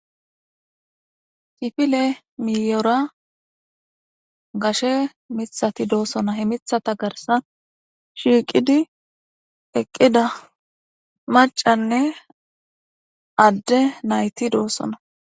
Kifile miiyera gashe miththati de'osona. He miththata garsan shiiqidi eqqida maccanne adde nayti doosona